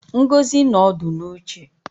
Ngozi no odu n'uche